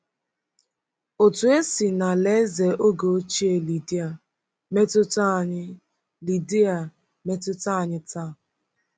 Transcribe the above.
Otu esi n’alaeze oge ochie Lidia metụta anyị Lidia metụta anyị taa.